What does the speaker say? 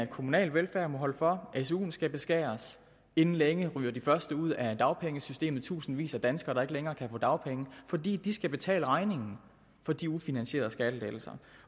kommunale velfærd må holde for at suen skal beskæres inden længe ryger de første ud af dagpengesystemet tusindvis af danskere der ikke længere kan få dagpenge fordi de skal betale regningen for de ufinansierede skattelettelser